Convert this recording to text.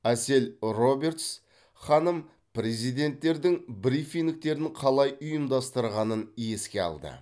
әсел робертс ханым президенттердің брифингтерін қалай ұйымдастырғанын еске алды